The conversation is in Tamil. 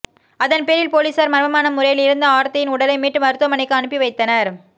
அதன் பேரில் பொலிசார் மர்மமான முறையில் இறந்த ஆர்த்தியின் உடலை மீட்டு மருத்துவமனைக்கு அனுப்பிவைத்தனர்